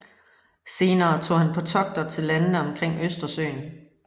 Senere tog han på togter til landene omkring Østersøen